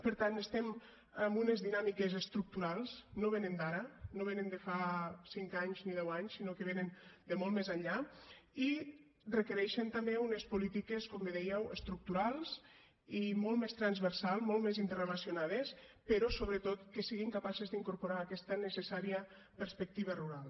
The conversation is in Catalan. per tant estem amb unes dinàmiques estructurals no venen d’ara no venen de fa cinc anys ni deu anys sinó que venen de molt més enllà i requereixen també unes polítiques com bé dèieu estructurals i molt més transversals molt més interrelacionades però sobretot que siguin capaces d’incorporar aquesta necessària perspectiva rural